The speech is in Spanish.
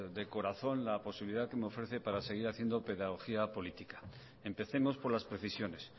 de corazón la posibilidad que me ofrece para seguir haciendo pedagogía política empecemos por las precisiones